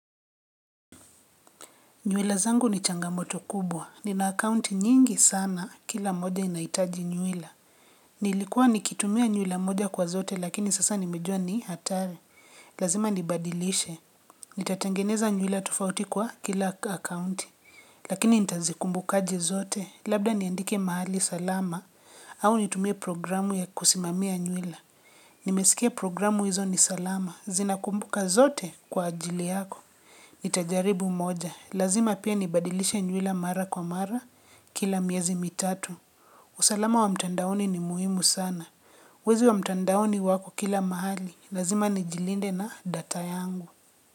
Nywele zangu ni changamoto kubwa. Nina akaunti nyingi sana. Kila moja inaitaji nywila. Nilikuwa nikitumia nywila moja kwa zote, lakini sasa nimejua ni hatari. Lazima nibadilishe. Nitatengeneza nywila tufauti kwa kila akaunti. Lakini nitazikumbukaji zote, labda niandike mahali salama. Au nitumie programu ya kusimamia nywila. Nimesikia programu hizo ni salama. Zinakumbuka zote kwa ajili yako. Nitajaribu moja. Lazima pia nibadilisha nywila mara kwa mara, kila miezi mitatu. Usalama wa mtandaoni ni muhimu sana. Wezi wa mtandaoni wako kila mahali. Lazima nijilinde na data yangu.